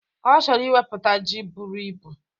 Ọ chọrọ iwepụta ji buru ibu.